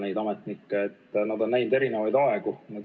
Need spetsialistid on näinud erinevaid aegu.